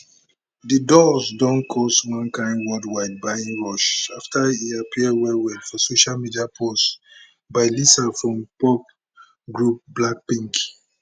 di dolls don cause one kain worldwide buying rush after e appear wellwell for social media posts by lisa from pop group blackpink